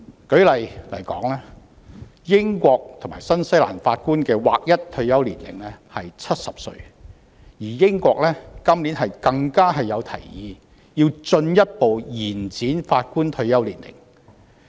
舉例來說，英國和新西蘭法官的劃一退休年齡為70歲，而英國今年更提議進一步調高法官退休年齡。